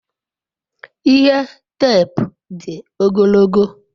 ihe teepu di ogologo